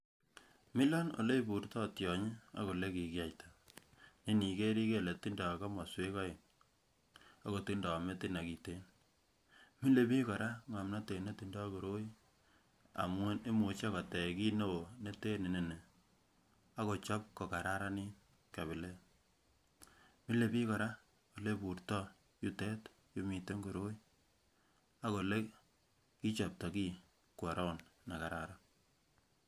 Milon oleiburtoo tyonyi ak olekikiyaiita ne iniker kotindo komoswek oeng akotindoi metit nekiten milebiik kora ngomnotet netindoi koroi amun imuche kotech kit newoo neten inonii akochob kokararin kabilet, milebiik kora oleibutroo yutet yumiten koroi ak olekichopto kii kwo round nekararan